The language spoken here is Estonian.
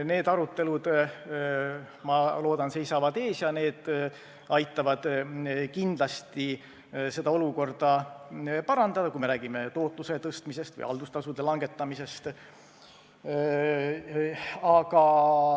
Need arutelud, ma loodan, seisavad ees, aga need meetmed kindlasti aitavad olukorda parandada, kui me räägime tootluse tõstmisest või haldustasude langetamisest.